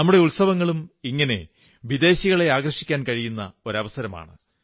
നമ്മുടെ ഉത്സവങ്ങളും ഇങ്ങനെ വിദേശികളെ ആകർഷിക്കാൻ കഴിയുന്ന ഒരു അവസരമാണ്